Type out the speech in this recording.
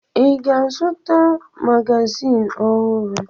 Ị ga-azụta magazin ọhụrụ?